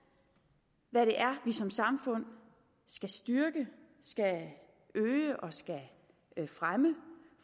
hvad det er som samfund skal styrke skal øge og fremme